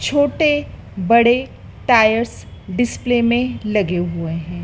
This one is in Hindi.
छोटे बड़े टायर्स डिस्प्ले में लगे हुए हैं।